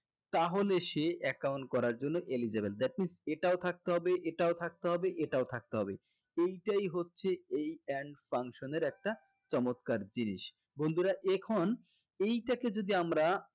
তাহলে সে account করার জন্য eligible that means এটাও থাকতে হবে এটাও থাকতে হবে এটাও থাকতে হবে এইটাই হচ্ছে এই and function এর একটা চমৎকার জিনিস বন্ধুরা এখন এইটাকে যদি আমরা